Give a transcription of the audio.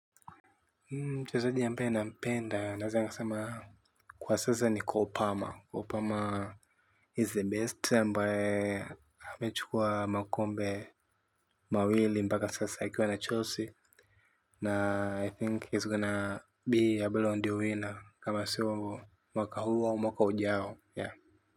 Mchezaji ambaye nampenda naweza nikasema kwa sasa ni cole palmer Cole palmer is the best ambae amechukua makombe mawili mpaka sasa akiwa na Chelsea na I think he's gonna be able on the winner kama si uongo mwaka huu au mwaka ujao ya.